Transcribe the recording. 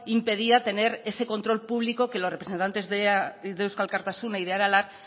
impedía tener ese control público que los representantes de eusko alkartasuna y de aralar